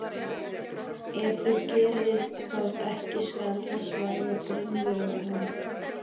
Ef þið gerið það ekki skal þess verða grimmilega hefnt.